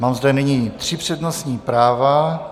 Mám zde nyní tři přednostní práva.